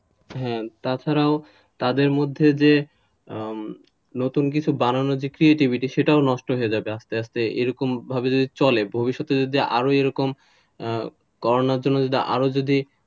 হ্যাঁ তাছাড়াও তাদের মধ্যে যে নতুন কিছু বানানোর creativity সেটাও নষ্ট হয়ে যাবে আস্তে আস্তে এরকমভাবে চলে ভবিষ্যতে যদি আরো এরকম করোনার জন্য আরও যদি,